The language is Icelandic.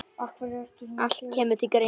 Allt kemur til greina.